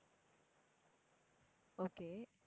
okay